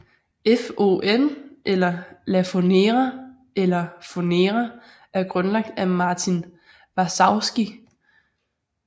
FON eller Lafonera eller Fonera er grundlagt af Martin Varsavsky